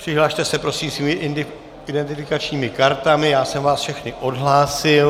Přihlaste se prosím svými identifikačními kartami, já jsem vás všechny odhlásil.